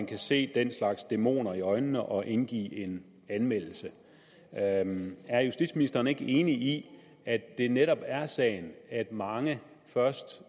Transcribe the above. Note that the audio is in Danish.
kan se den slags dæmoner i øjnene og indgive en anmeldelse er justitsministeren ikke enig i at det netop er sagen at mange først